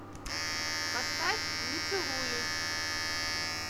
поставь не целуюсь